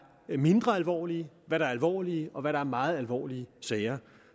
mindre alvorlige hvad der er alvorlige og hvad der er meget alvorlige sager